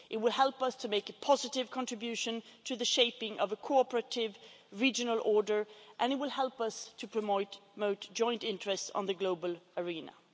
It will help us to make a positive contribution to the shaping of a cooperative regional order and it will help us to promote joint interests in the global arena.